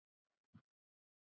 hugsar hann með sjálfum sér.